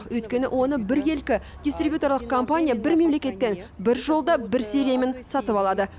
өйткені оны біркелкі дистрибьюторлық компания бір мемлекеттен бір жолда бір сериямен сатып алады